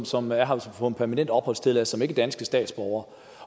som er her på en permanent opholdstilladelse er danske statsborgere